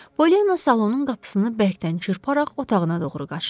Polyanna salonun qapısını bərkdən çırparaq otağına doğru qaçdı.